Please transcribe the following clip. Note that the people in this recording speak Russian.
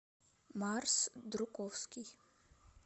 марс друковский